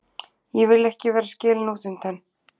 Ég vil ekki vera skilin útundan.